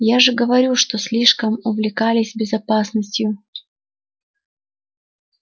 я же говорю что слишком увлекались безопасностью